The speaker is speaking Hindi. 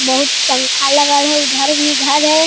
बहुत पंखा लगल हेय उधर भी घर है।